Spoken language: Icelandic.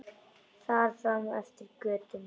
Og þar fram eftir götum.